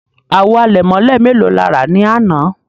Àwò àlẹ̀mọ̀lẹ̀ mẹ́lò lè rà ní àná?